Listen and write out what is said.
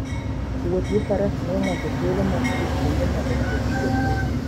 Wuoth gi faras miyo ng'ato thuolo mar dhi kuonde ma ok yot chopoe.